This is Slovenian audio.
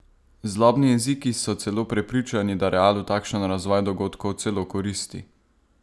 Zlobni jeziki so celo prepričani, da Realu takšen razvoj dogodkov celo koristi.